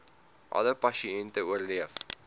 alle pasiënte oorleef